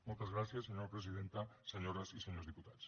moltes gràcies senyora presidenta senyores i senyors diputats